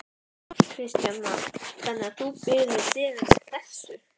Að sumu leyti svipar goshegðun hans til Geysis.